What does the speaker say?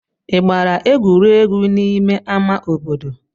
Ị gbara egwuregwu n'ime ama obodo?